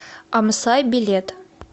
амсай билет